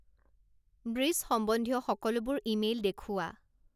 breach সম্বন্ধীয় সকলোবোৰ email দেখুওৱা